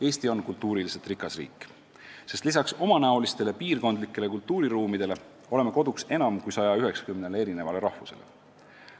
Eesti on kultuuriliselt rikas riik, sest lisaks omanäolistele piirkondlikele kultuuriruumidele oleme koduks enam kui 190 rahvusest inimestele.